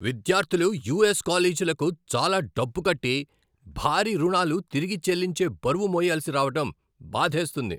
విద్యార్థులు యుఎస్ కాలేజీలకు చాలా డబ్బు కట్టి, భారీ రుణాలు తిరిగి చెల్లించే బరువు మొయ్యాల్సి రావటం బాధేస్తుంది.